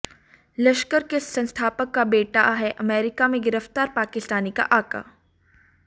लश्कर के संस्थापक का बेटा है अमेरिका में गिरफ्तार पाकिस्तानी का आका